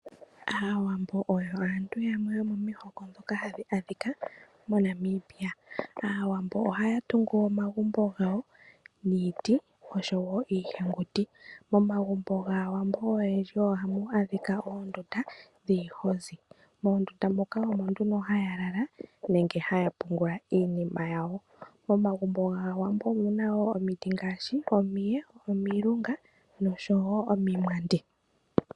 Aawambo oyo aantu yamwe yomomihoko ndhoka hadhi adhika moNamibia. Aawambo ohaya dhike omagumbo gawo niiti nosho wo niihenguti. Momagumbo gAawambo ogendji ohamu adhika oondunda dhoomwiidhi. Moondunda moka omo nduno haya lala nenge haya pungula iinima yawo. Momagumbo gAawambo omu na wo omiti ngaashi: omiye, omilunga nosho wo oomwandi.